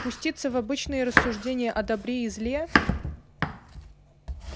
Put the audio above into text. пуститься в обычные рассуждения о добре и зле